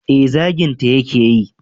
eh zaginta ya ke yi